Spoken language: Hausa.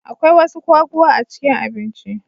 Akwai wasu kwaguwa a cikin abinci.